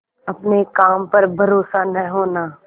अपने काम पर भरोसा न होना